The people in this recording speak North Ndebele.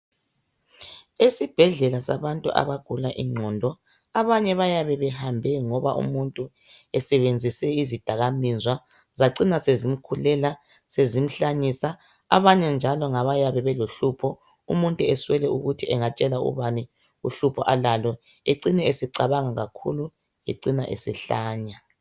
Esibhedlela sabantu abagula ingqondo abanye bayabe behambe ngoba umuntu esebenzise izidakamizwa zacina sezimkhulela sezimhlanyisa abanye njalo ngaba yabe lohlupho umuntu aswele ukuthi angatshela ubani uhlupho alalo acine secabange kakhulu ecine esehlanya.